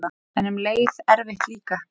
En um leið erfitt líka.